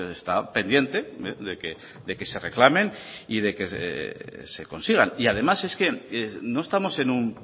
está pendiente de que se reclamen y de que se consigan y además es que no estamos en un